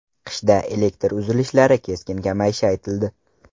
Qishda elektr uzilishlari keskin kamayishi aytildi.